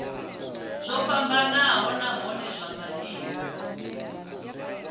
zwo fhambanaho nahone zwa maimo